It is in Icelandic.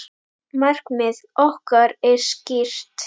Markmið okkar er skýrt.